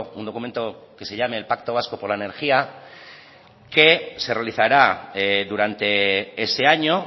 un documento que se llame el pacto vasco por la energía que se realizará durante ese año